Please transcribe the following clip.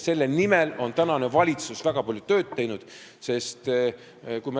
Selle nimel on tänane valitsus väga palju tööd teinud.